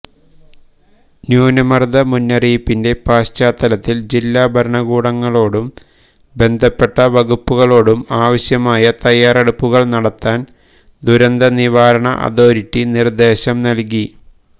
ന്യൂനമർദ മുന്നറിയിപ്പിന്റെ പശ്ചാത്തലത്തിൽ ജില്ലാഭരണകൂടങ്ങളോടും ബന്ധപ്പെട്ട വകുപ്പുകളോടും ആവശ്യമായ തയ്യറെടുപ്പുകൾ നടത്താൻ ദുരന്ത നിവാരണ അതോറിറ്റി നിർദേശം നൽകി